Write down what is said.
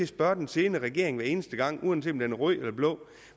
spørge den siddende regering hver eneste gang uanset om den er rød eller blå